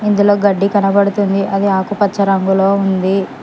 ఇందులో గడ్డి కనబడుతుంది అది ఆకుపచ్చ రంగులో ఉంది